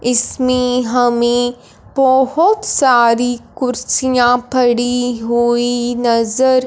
इसमें हमें बहोत सारी कुर्सियां फड़ी हुई नजर--